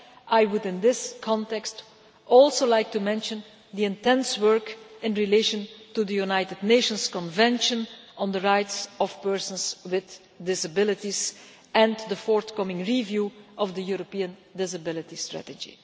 I would like in this context also to mention the intense work in relation to the United Nations Convention on the Rights of Persons with Disabilities, and the forthcoming review of the European Disability Strategy.